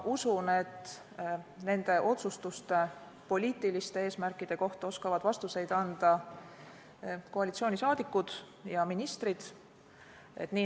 Ma usun, et nende otsustuste poliitiliste eesmärkide kohta oskavad vastuseid anda koalitsiooni liikmed ja ministrid.